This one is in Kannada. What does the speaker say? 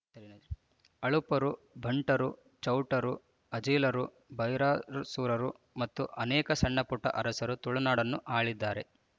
ಆಳುಪರು ಬಂಟರು ಚೌಟರು ಅಜಿಲರು ಭೈರರಸರು ಮತ್ತು ಅನೇಕ ಸಣ್ಣ ಪುಟ್ಟ ಅರಸರು ತುಳುನಾಡನ್ನು ಆಳಿದ್ದಾರೆ